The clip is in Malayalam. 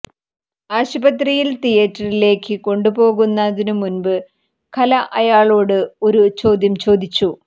ആശുപത്രിയിൽ തിയേറ്ററിലേക്ക് കൊണ്ടുപോകുന്നതിനു മുൻപ് കല അയാളോട് ഒരു ചോദ്യം ചോദിച്ചു